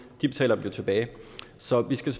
betaler dem jo tilbage så vi skal